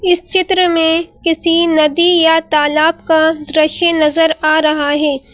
इस चित्र में किसी नदी या तालाब का दृश्य नजर आ रहा है।